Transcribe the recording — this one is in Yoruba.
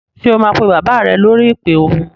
Ṣé o máa pe bàbá rẹ lórí ìpè ohùn?